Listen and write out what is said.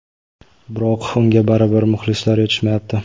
biroq unga baribir muxlislar yetishmayapti.